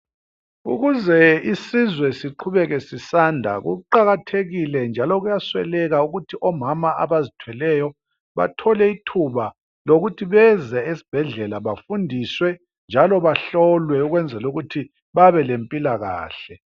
Ukuze isizwe siqhubeke sisanda kuqakathekile njalo kuyasweleka ukuthi omama abazithweleyo bathole ithuba lokuthi beze ezibhedlela befundiswe njalo bahlolwe ukuze babelempilakahle.